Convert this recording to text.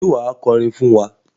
Ṣé wà á kọrin fún wa?